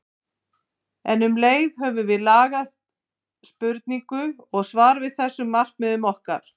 En um leið höfum við lagað spurningu og svar að þessum markmiðum okkar.